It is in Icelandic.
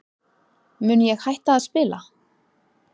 Mun ég hætta að spila?